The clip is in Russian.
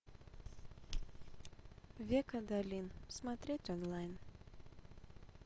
век адалин смотреть онлайн